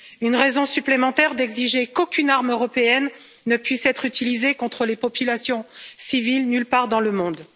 C'est une raison supplémentaire d'exiger qu'aucune arme européenne ne puisse être utilisée contre les populations civiles, nulle part dans le monde.